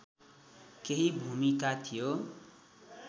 केही भूमिका थियो